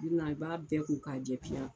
i b'a bɛɛ ko ka jɛ piya